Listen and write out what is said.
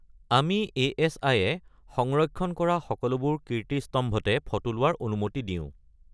আমি এ.এছ.আই-এ সংৰক্ষণ কৰা সকলোবোৰ কীৰ্তিস্তম্ভতে ফটো লোৱাৰ অনুমতি দিওঁ।